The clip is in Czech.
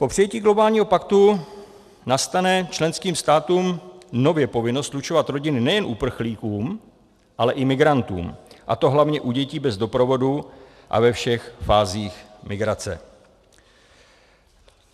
Po přijetí globálního paktu nastane členským státům nově povinnost slučovat rodiny nejen uprchlíkům, ale i migrantům, a to hlavně u dětí bez doprovodu a ve všech fázích migrace.